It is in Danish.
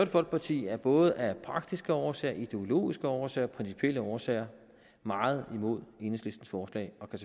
folkeparti er både af praktiske årsager ideologiske årsager principielle årsager meget imod enhedslistens forslag og kan